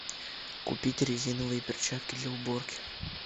купить резиновые перчатки для уборки